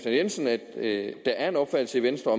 jensen at der er en opfattelse i venstre